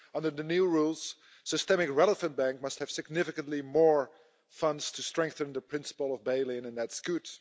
Under the new rules, a systemically relevant bank must have significantly more funds to strengthen the principle of bail in, and that's good.